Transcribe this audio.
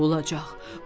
Nə olacaq?